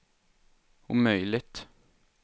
omöjligt